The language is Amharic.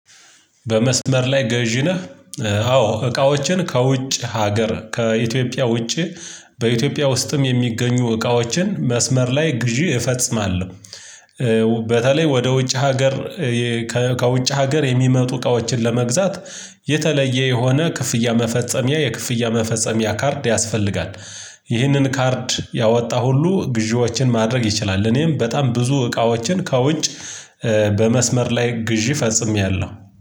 በመስመር ላይ ገዢ ነህ? አዎ እቃዎችን ከውጭ ሀገር ከኢትዮጵያ ውጪ። በኢትዮጵያ ውስጥም የሚገኙ እቃዎችን መስመር ላይ ግዢ እፈጽማለሁ። በተለይ ወደ ውጭ ሀገር። ከውጭ ሀገር የሚመጡ እቃዎችን ለመግዛት የተለየ የሆነ ክፍያ መፈጸሚያ የክፍያ መፈጸሚያ ካርድ ያስፈልጋል። ይህንን ካርድ ያወጣ ሁሉ ግዢዎችን ማድረግ ይችላል እኔም በጣም ብዙ እቃዎችን ከውጭ። በመስመር ላይ ግዢ ፈጽሜያለሁ